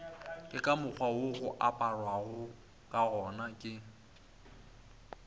ke ka mokgwawo oaparagokagona ke